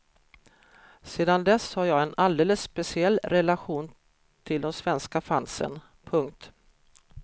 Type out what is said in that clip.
Sedan dess har jag en alldeles speciell relation till de svenska fansen. punkt